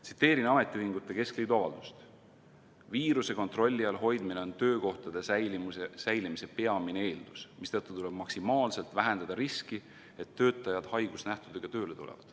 Tsiteerin ametiühingute keskliidu avaldust: "Viiruse kontrolli all hoidmine on töökohtade säilimise peamine eeldus, mistõttu tuleb maksimaalselt vähendada riski, et töötajad haigusnähtudega tööle tulevad.